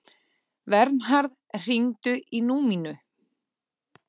Vernharð, hringdu í Númínu.